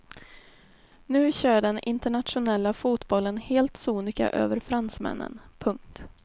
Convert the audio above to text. Nu kör den internationella fotbollen helt sonika över fransmännen. punkt